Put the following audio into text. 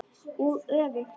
Og öfugt.